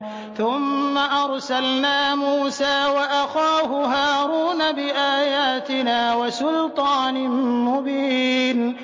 ثُمَّ أَرْسَلْنَا مُوسَىٰ وَأَخَاهُ هَارُونَ بِآيَاتِنَا وَسُلْطَانٍ مُّبِينٍ